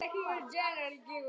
á Dalvík.